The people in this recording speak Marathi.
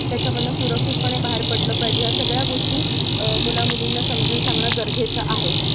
त्याच्या मधनं सुरक्षितपणे बाहेर पडलं पाहिजे, ह्या सगळ्या गोष्टी अह मुला-मुलींना समजून सांगणं गरजेचं आहे.